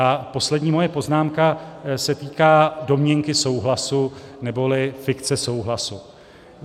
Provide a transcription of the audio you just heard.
A poslední moje poznámka se týká domněnky souhlasu neboli fikce souhlasu.